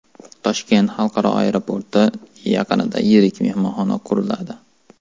Toshkent xalqaro aeroporti yaqinida yirik mehmonxona quriladi.